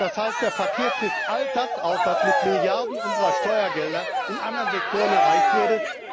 Das heißt, der Verkehr frisst all das auf, was mit Milliarden unserer Steuergelder in anderen Sektoren erreicht wurde.